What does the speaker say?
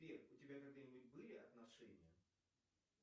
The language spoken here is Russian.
сбер у тебя когда нибудь были отношения